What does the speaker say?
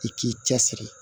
I k'i cɛ siri